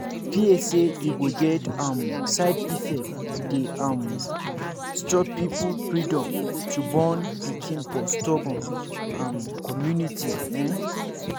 fear say e go get um side effect dey um stop people freedom to born pikin for storbun um community ehn